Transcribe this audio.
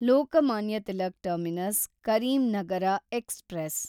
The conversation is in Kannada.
Lokmanya Tilak terminus Karimnagar express